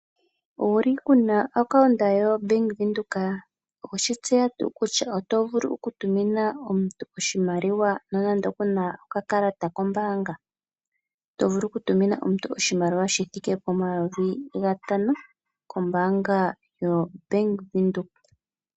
Owuli wuna o account yo Bank Windhoek? Oweshi tseya tuu kutya oto vulu oku tumina omuntu oshimaliwa nonande kuna oka kalata kombaanga. Oto vulu oku tumina omuntu oshimaliwa sha thika pomayovi gatano kombaanga ya Bank Windhoek.